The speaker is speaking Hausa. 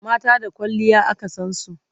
mata da kwalliya aka San su